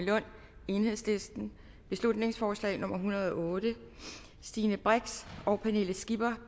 lund beslutningsforslag nummer hundrede og otte stine brix og pernille skipper